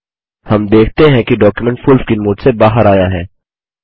हम देखते हैं कि डॉक्युमेंट फुल स्क्रीन मोड से बाहर आया है